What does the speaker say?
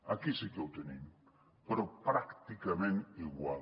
aquí sí que ho tenim però pràcticament igual